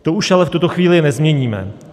To už ale v tuto chvíli nezměníme.